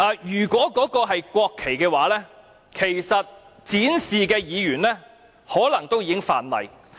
如果那些是國旗，展示它們的議員其實可能已觸犯法例。